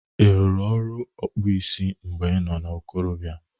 Ị rụrụ ọrụ ọkpụ isi mgbe i nọ na ikorobịa?